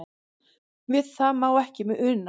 Við það má ekki una.